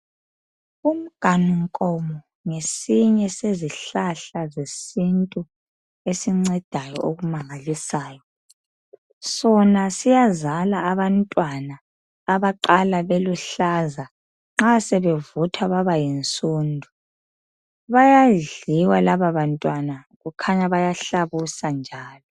Umnganu nkomo ngesinye sezihlahla zesintu esincedayo okumangalisayo. Sona siyazala abantwana abaqala beluhlaza nxa sebevuthwa babayinsundu. Bayadliwa laba bantwana kukhanya bayahlabusa njalo.